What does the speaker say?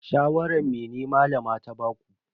Shawaran mene Malama ta baku?